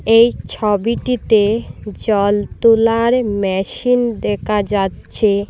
এই ছবিটিতে জল তুলার মেশিন দেকা যাচ্চে।